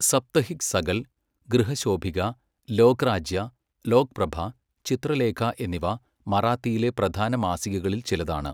സപ്തഹിക് സകൽ, ഗൃഹശോഭിക, ലോക്രാജ്യ, ലോക്പ്രഭാ, ചിത്രലേഖ എന്നിവ മറാത്തിയിലെ പ്രധാന മാസികകളിൽ ചിലതാണ്.